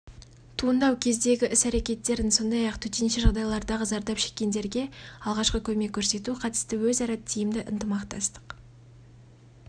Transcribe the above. туындау кездегі іс-әрекеттерін сондай-ақ төтенше жағдайлардағы зардап шеккендерге алғашқы көмек көрсету қатысты өзара тиімді ытымақтастық